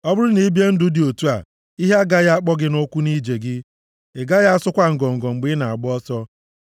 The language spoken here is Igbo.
Ọ bụrụ na i bie ụdị ndụ dị otu a, ihe agaghị akpọ gị nʼụkwụ nʼije gị, ị gaghị asụkwa ngọngọ mgbe ị na-agba ọsọ.